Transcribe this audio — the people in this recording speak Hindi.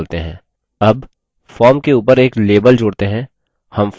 add form के ऊपर एक label जोड़ते हैं